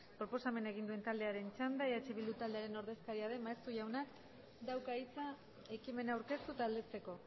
proposamena egun duen taldearen txanda eh bildu taldearen ordezkaria den maeztu jaunak dauka hitza ekimena aurkeztu eta aldezteko